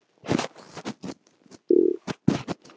Þeir röltu af stað niður Vesturgötuna ofan í kvosina.